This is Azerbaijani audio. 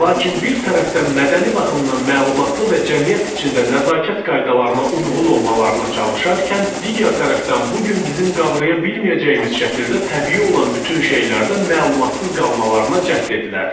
Lakin bir tərəfdən mədəni baxımdan məlumatlı və cəmiyyət içində nəzakət qaydalarına uyğun olmalarına çalışarkən, digər tərəfdən bu gün bizim qavraya bilməyəcəyimiz şəkildə təbii olan bütün şeylərdə məlumatsız qalmalarına cəhd edilərdi.